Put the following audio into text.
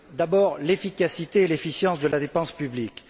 D'abord l'efficacité et l'efficience de la dépense publique.